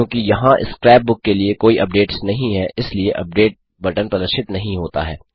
क्योंकि यहाँ scrapbook के लिए कोई अपडेट्स नहीं हैं इसलिये अपडेट बटन प्रदर्शित नहीं होता है